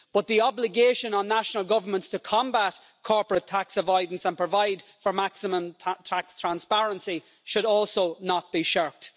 But the obligation on national governments to combat corporate tax avoidance and provide for maximum tax transparency should also not be shirked.